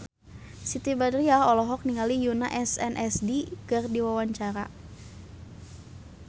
Siti Badriah olohok ningali Yoona SNSD keur diwawancara